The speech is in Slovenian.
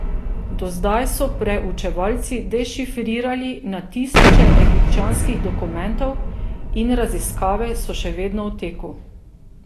Do zdaj so preučevalci dešifrirali na tisoče egipčanskih dokumentov in raziskave so še vedno v teku.